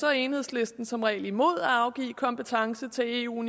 er enhedslisten som regel imod at afgive kompetence til eu